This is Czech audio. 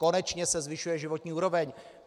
Konečně se zvyšuje životní úroveň.